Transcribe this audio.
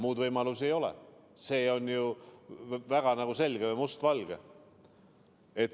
Muud võimalust ei ole, see on ju väga selge, must-valge.